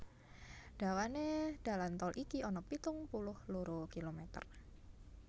Dawané dalan tol iki ana pitung puluh loro kilometer